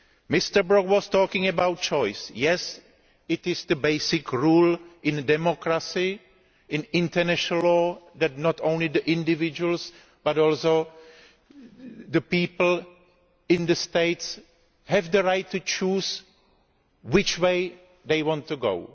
Mr Brok was talking about choice. Yes, that is the basic rule in democracy and international law that not only individuals, but also the people in the states have the right to choose which way they want to go.